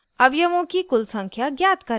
* अवयवों की कुल संख्या ज्ञात करें